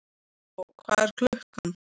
Gógó, hvað er klukkan?